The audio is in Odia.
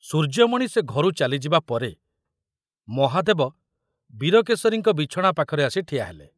ସୂର୍ଯ୍ୟମଣି ସେ ଘରୁ ଚାଲିଯିବା ପରେ ମହାଦେବ ବୀରକେଶରୀଙ୍କ ବିଛଣା ପାଖରେ ଆସି ଠିଆ ହେଲେ।